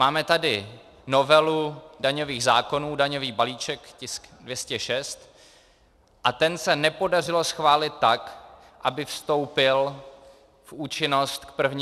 Máme tady novelu daňových zákonů, daňový balíček, tisk 206, a ten se nepodařilo schválit tak, aby vstoupil v účinnost k 1. lednu.